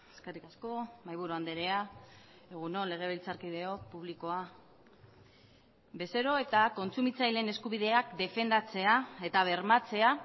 eskerrik asko mahaiburu andrea egun on legebiltzarkideok publikoa bezero eta kontsumitzaileen eskubideak defendatzea eta bermatzea